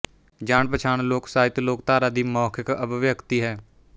ਜਾਣ ਪਛਾਣ ਲੋਕ ਸਾਹਿਤ ਲੋਕਧਾਰਾ ਦੀ ਮੌਖਿਕ ਅਭਿਵਿੱਅਕਤੀ ਹੈ